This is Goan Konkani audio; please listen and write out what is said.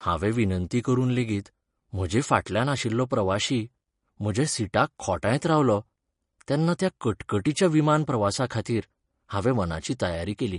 हांवें विनंती करून लेगीत म्हजे फाटल्यान आशिल्लो प्रवाशी म्हज्या सिटाक खोंटायत रावलो तेन्ना त्या कटकटीच्या विमानप्रवासाखातीर हांवें मनाची तयारी केली.